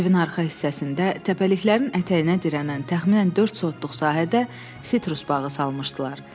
Evin arxa hissəsində, təpəliklərin ətəyinə dirənən təxminən dörd sotluq sahədə sitrus bağı salmışdılar.